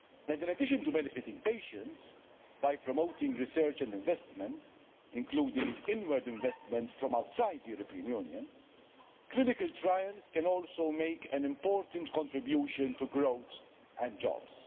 In addition to benefiting patients, by promoting research and investment, including inward investment from outside the European Union, clinical trials can also make an important contribution to growth and jobs.